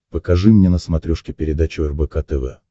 покажи мне на смотрешке передачу рбк тв